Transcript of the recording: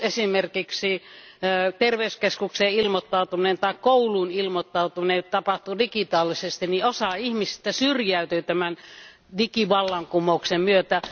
Jos esimerkiksi terveyskeskukseen ilmoittautuminen tai kouluun ilmoittautuminen tapahtuu digitaalisesti, osa ihmisistä syrjäytyy tämän digivallankumouksen myötä.